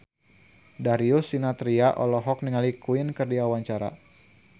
Darius Sinathrya olohok ningali Queen keur diwawancara